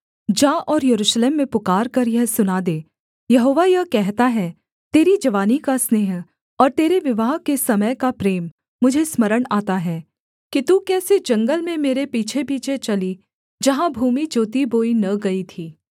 जा और यरूशलेम में पुकारकर यह सुना दे यहोवा यह कहता है तेरी जवानी का स्नेह और तेरे विवाह के समय का प्रेम मुझे स्मरण आता है कि तू कैसे जंगल में मेरे पीछेपीछे चली जहाँ भूमि जोतीबोई न गई थी